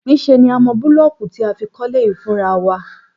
Níṣe ni a mọ búlọ́ọ̀kù tí a fi kọ́lé yìí fúnra wa